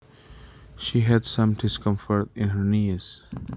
She had some discomfort in her knees